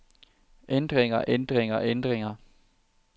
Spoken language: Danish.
ændringer ændringer ændringer